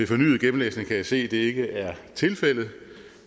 fornyet gennemlæsning kan jeg se at det ikke er tilfældet